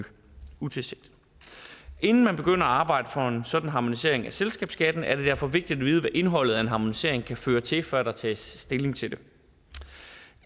inden man begynder at arbejde for en sådan harmonisering af selskabsskatten er det derfor vigtigt at vide hvad indholdet af en harmonisering kan føre til før der tages stilling til det